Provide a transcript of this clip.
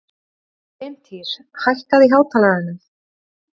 Bryntýr, hækkaðu í hátalaranum.